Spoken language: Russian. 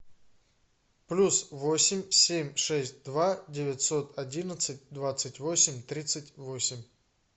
плюс восемь семь шесть два девятьсот одинадцать двадцать восемь тридцать восемь